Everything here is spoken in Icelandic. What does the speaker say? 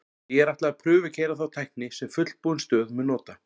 Því er ætlað að prufukeyra þá tækni sem fullbúin stöð mun nota.